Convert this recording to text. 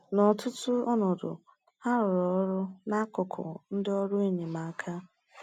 N’ọtụtụ ọnọdụ, ha rụrụ ọrụ n’akụkụ ndị ọrụ enyemaka.